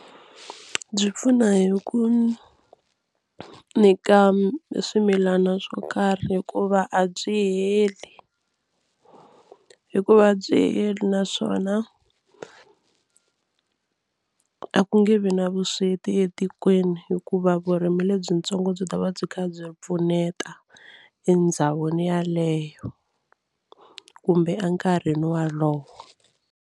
Byi pfuna hi ku nyika swimilana swo karhi hikuva a byi heli hikuva a byi heli naswona a ku nge vi na vusweti etikweni hikuva vurimi lebyitsongo byi ta va byi kha byi pfuneta endhawini yaleyo kumbe enkarhini wolowo.